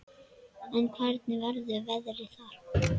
En hvernig verður veðrið þar?